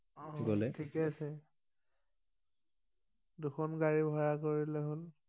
ঠিকেই আছে দুখন গাড়ী ভাৰা কৰিলেই হল